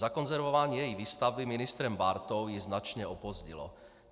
Zakonzervování její výstavby ministrem Bártou ji značně opozdilo.